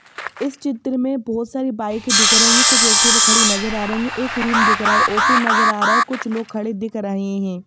इस चित्र में बहुत सारी बाइक दिख रही हैं कुछ एक्टिवा खड़ी नजर आ रही हैं एक रूम दिख रहा हैं ऑफिस नजर आ रहा हैं कुछ लोग खड़े दिख रहे हैं।